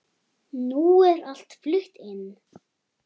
Nú er allt flutt inn.